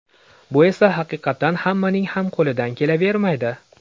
Bu esa haqiqatan hammaning ham qo‘lidan kelavermaydi.